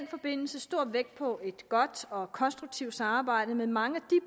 forbindelse stor vægt på et godt og konstruktivt samarbejde med mange